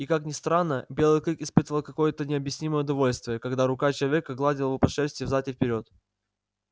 и как ни странно белый клык испытывал какое то необъяснимое удовольствие когда рука человека гладила его по шерсти взад и вперёд